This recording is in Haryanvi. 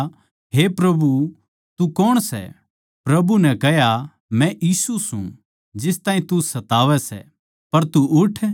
फेर मै बोल्या हे प्रभु तू कौण सै प्रभु नै कह्या मै यीशु सूं जिस ताहीं तू सतावै सै